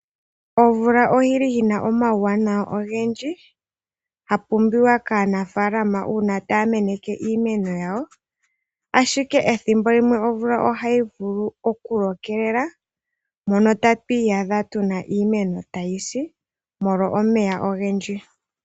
Omvula oyi li yi na omauwanawa ogendji, ya pumbiwa kaanafaalama, uuna taa meneke iimeno yawo, ashike ethimbo limwe omvula ohayi vulu okulokelela, mono tatu iyadha tu na iimeno tayi si, molwa omeya ogendji.